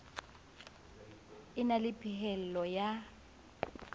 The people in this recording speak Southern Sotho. a na le phehello ya